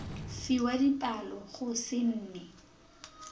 fiwa dipalo go se nne